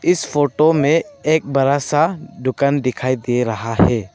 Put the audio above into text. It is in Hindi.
इस फोटो में एक बड़ा सा दुकान दिखाई दे रहा है।